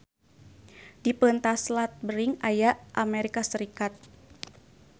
Di peuntas Selat Bering aya Amerika Sarikat.